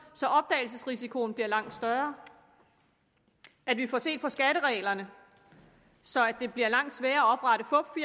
så opdagelsesrisikoen bliver langt større at vi får set på skattereglerne så det bliver langt sværere